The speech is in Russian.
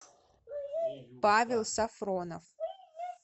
павел сафронов